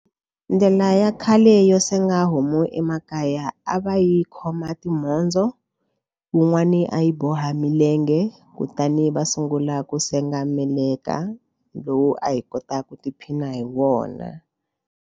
Ndlela ya khale yo senga homu emakaya a va yi khoma timhondzo wun'wani a yi boha milenge kutani va sungula ku senga meleka lowu a hi kota ku tiphina hi wona.